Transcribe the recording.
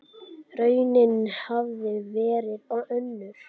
Raunin hafi verið önnur.